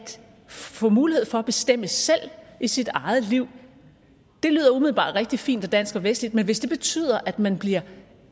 få mulighed for at bestemme selv i sit eget liv lyder umiddelbart rigtig fint dansk og vestligt men hvis det betyder at man bliver